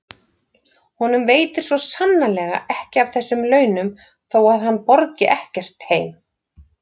Honum veitir svo sannarlega ekki af þessum launum þó að hann borgi ekkert heim.